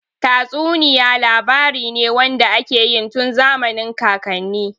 Tatsuniya labari ne wanda ake yi tun zamanin kakanni.